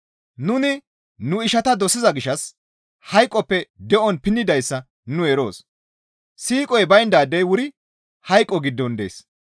Nuni nu ishata dosiza gishshas hayqoppe de7on pinnidayssa nu eroos; siiqoy bayndaadey wuri hayqo giddon dees.